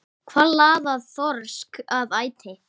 Hvað laðar þorsk að æti?